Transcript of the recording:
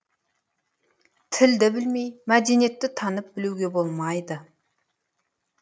тілді білмей мәдениетті танып білуге болмайды